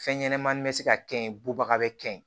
Fɛn ɲɛnɛmani bɛ se ka kɛ ye bubaga bɛ kɛn ye